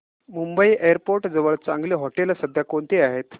Mumbai airport जवळ चांगली हॉटेलं सध्या कोणती आहेत